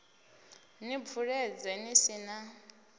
ni bvuledze ni si na